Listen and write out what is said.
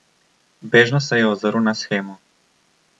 Bežno se je ozrl na shemo.